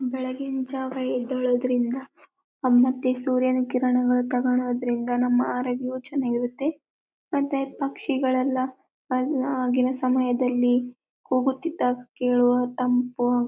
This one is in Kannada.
ಬೆಳಗ್ಗಿನ ಜಾವಾ ಎದ್ದಳೊದರಿಂದ ಮತ್ತೆ ಸೂರ್ಯನ ಕಿರಣಗಳು ತಗೋಳೋದರಿಂದ ನಮ್ಮ ಆರೋಗ್ಯವು ಚೆನ್ನಾಗಿ ಇರುತ್ತದೆ ಮತ್ತೆ ಪಕ್ಷಿಗಳೆಲ್ಲ ಆಗಿನ ಸಮಯದಲ್ಲಿ ಕೂಗುತ್ತಿದ್ದಾಗ ಕೇಳುವ ತಂಪು--